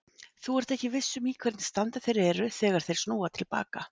Þú ert ekki viss um í hvernig standi þeir eru þegar þeir snúa til baka.